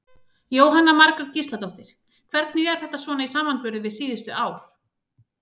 Jóhanna Margrét Gísladóttir: Hvernig er þetta svona í samanburði við síðustu ár?